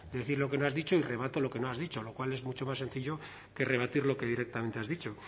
de decir lo que no has dicho y rebato lo que no has dicho lo cual es mucho más sencillo que rebatir lo que directamente has dicho